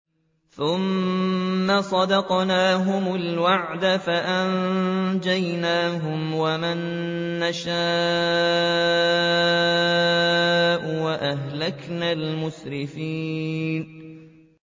ثُمَّ صَدَقْنَاهُمُ الْوَعْدَ فَأَنجَيْنَاهُمْ وَمَن نَّشَاءُ وَأَهْلَكْنَا الْمُسْرِفِينَ